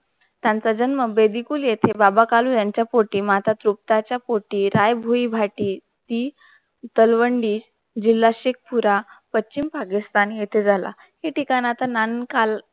त्यांचा जन्म बेबीकुल येथे बाबा कालू यांच्या पोटी माता चुप्ता च्या पोटी राय व्दि भाटी हि कलवंडी जिल्हा शीखपूरा पश्चिम पाकिस्तान येथे झाला. ही ठिकाण आता नान काल